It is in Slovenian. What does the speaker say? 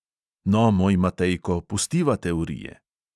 No, moj matejko, pustiva teorije.